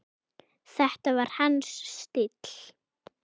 Þetta var hans stíll!